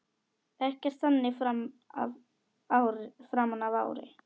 Ekkert þannig framan af ári.